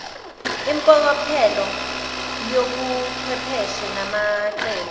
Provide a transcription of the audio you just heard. impokophelo yobuchwepheshe namacebo